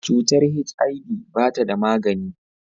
Cutar HIV ba ta da magani.